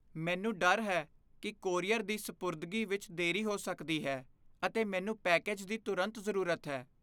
ਮੈਨੂੰ ਡਰ ਹੈ ਕਿ ਕੋਰੀਅਰ ਦੀ ਸਪੁਰਦਗੀ ਵਿੱਚ ਦੇਰੀ ਹੋ ਸਕਦੀ ਹੈ, ਅਤੇ ਮੈਨੂੰ ਪੈਕੇਜ ਦੀ ਤੁਰੰਤ ਜ਼ਰੂਰਤ ਹੈ।